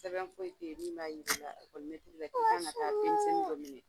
Sɛbɛn foyi ten min b'a yiri la la k'i k'an ka taga denmisɛnni dɔ minɛ.